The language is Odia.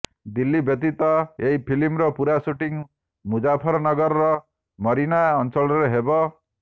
ଦିଲ୍ଲୀ ବ୍ୟତୀତ ଏହି ଫିଲ୍ମର ପୂରା ଶୁଟିଂ ମୁଜାଫରନଗରର ମରୀନା ଅଞ୍ଚଳରେ ହେବ